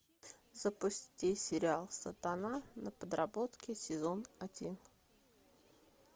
запусти сериал сатана на подработке сезон один